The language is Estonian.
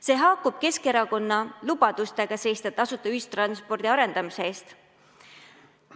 See haakub Keskerakonna lubadustega seista tasuta ühistranspordi arendamise eest.